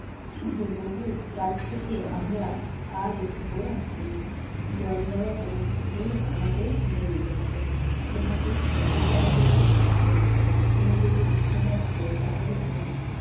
কুম্ভগ্রিত কাল থেকে আমরা আর এই পুকুরে আসছি না। জলভরা কোন পুকুর আমাদের খুঁজে নিতে হবে। তোমাকে ছেড়ে যেতে আমাদের খুব কষ্ট হচ্ছে, তুমি যদি উড়তে পারতে তাহলে তোমায়